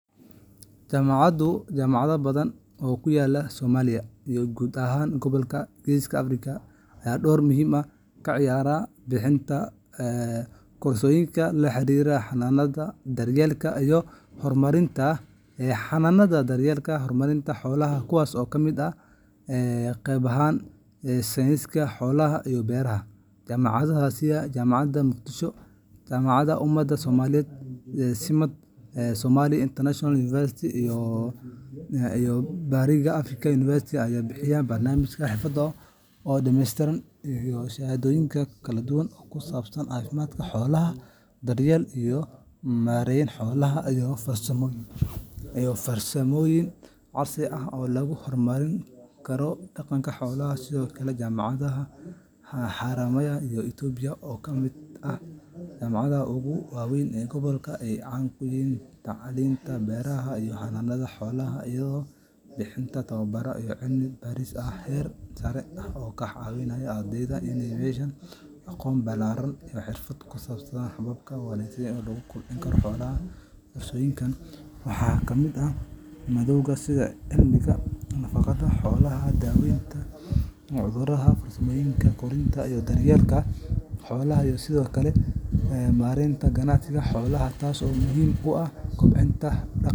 Jaamacado badan oo ku yaalla Soomaaliya iyo guud ahaan gobolka Geeska Afrika ayaa door muhiim ah ka ciyaara bixintaj koorsooyinka la xiriira xanaanada, daryeelka, iyo horumarinta xoolaha, kuwaas oo ka mid ah qeybaha sayniska noolaha iyo beeraha. Jaamacadaha sida Jaamacadda Muqdisho, Jaamacadda Umadda Soomaaliyeed SIMAD, Somali International University, iyo Bariga Afrika University ayaa bixiya barnaamijyo xirfadeed oo dhameystiran iyo shahaadooyin kala duwan oo ku saabsan caafimaadka xoolaha, daryeelka iyo maareynta xoolaha, iyo farsamooyinka casriga ah ee lagu horumarin karo dhaqaalaha xoolaha. Sidoo kale, jaamacadda Haramaya ee Itoobiya oo ka mid ah jaamacadaha ugu waa weyn gobolka ayaa caan ku ah tacliinta beeraha iyo xanaanada xoolaha, iyadoo bixisa tababaro iyo cilmi baaris heer sare ah oo ka caawinaya ardayda inay yeeshaan aqoon ballaaran iyo xirfado ku saabsan hababka ugu wanaagsan ee lagu kobcin karo xoolaha. Koorsooyinkan waxaa ka mid ah maadooyin sida cilmiga nafaqada xoolaha, daaweynta cudurrada, farsamada korinta iyo daryeelka xoolaha, iyo sidoo kale maaraynta ganacsiga xoolaha, taas oo muhiim oo ah kobticta.